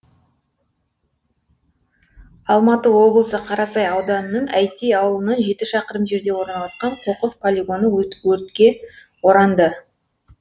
алматы облысы қарасай ауданының әйтей ауылынан жеті шақырым жерде орналасқан қоқыс полигоны өртке оранды